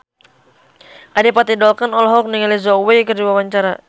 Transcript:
Adipati Dolken olohok ningali Zhao Wei keur diwawancara